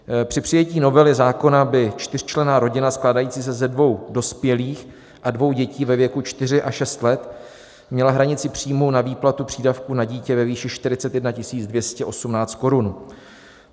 Při přijetí novely zákona by čtyřčlenná rodina skládající se ze dvou dospělých a dvou dětí ve věku 4 a 6 let měla hranici příjmu na výplatu přídavku na dítě ve výši 41 218 korun.